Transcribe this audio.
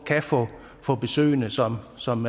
kan få besøgende som som